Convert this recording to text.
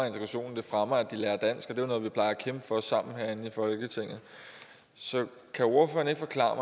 integrationen og fremmer at kæmpe for sammen herinde i folketinget så kan ordføreren ikke forklare